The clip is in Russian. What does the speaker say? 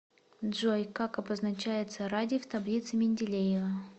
джой как обозначается радий в таблице менделеева